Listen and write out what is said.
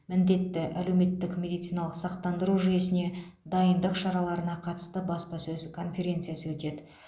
міндетті әлеуметтік медициналық сақтандыру жүйесіне дайындық шараларына қатысты баспасөз конференциясы өтеді